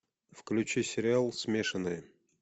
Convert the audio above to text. включи сериал смешанные